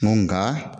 Nka